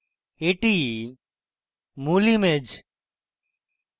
এটি মূল image